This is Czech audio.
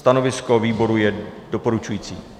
Stanovisko výboru je doporučující.